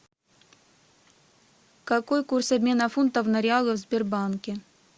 какой курс обмена фунтов на реалы в сбербанке